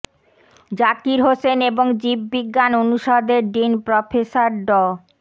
জাকির হোসেন এবং জীব বিজ্ঞান অনুষদের ডিন প্রফেসর ড